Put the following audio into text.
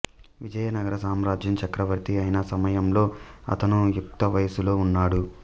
విజయనగర సామ్రాజ్యం చక్రవర్తి అయిన సమయంలో అతను యుక్తవయసులో ఉన్నాడు